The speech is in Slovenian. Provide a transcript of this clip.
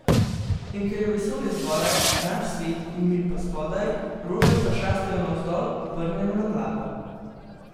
In ker je vesolje zgoraj, naš svet in mi pa spodaj, rože pač rastejo navzdol, obrnjene na glavo.